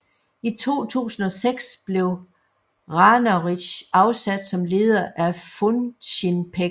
I 2006 blev Ranarridh afsat som leder af Funcinpec